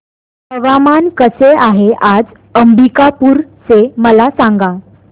हवामान कसे आहे आज अंबिकापूर चे मला सांगा